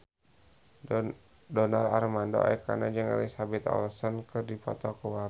Donar Armando Ekana jeung Elizabeth Olsen keur dipoto ku wartawan